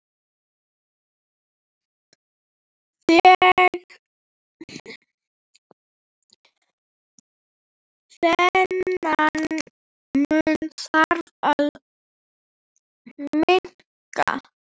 Þennan mun þarf að minnka.